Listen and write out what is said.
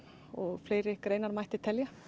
og fleiri greinar mætti telja